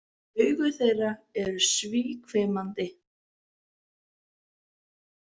Augu þeirra eru síhvimandi.